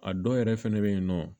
A dɔw yɛrɛ fɛnɛ bɛ yen nɔ